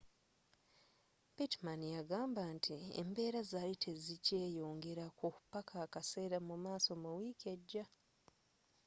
pittman yagamba nti embeera zaali tezikyeeyongerako paka akaseera mumaaso mu wiiki ejja